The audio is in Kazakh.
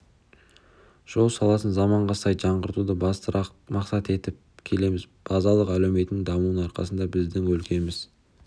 жол саласын заманға сай жаңғыртуды басты мақсат етіп келеміз базалық әлеуетінің дамуының арқасында біздің өлкеміз